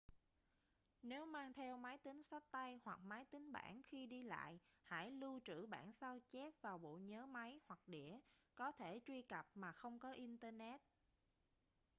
nếu mang theo máy tính xách tay hoặc máy tính bảng khi đi lại hãy lưu trữ bản sao chép vào bộ nhớ máy hoặc đĩa có thể truy cập mà không có internet